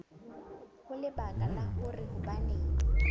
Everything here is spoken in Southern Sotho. ho lebaka la hore hobaneng